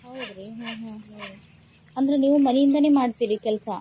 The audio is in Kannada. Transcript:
ಹೌದ್ರಿ ಹ್ಮ್ ಹ್ಮ್. ಅಂದ್ರೆ ನೀವ್ ಮನಿಯಿಂದಾನೇ ಮಾಡ್ತೀರಿ ಕೆಲ್ಸಾ?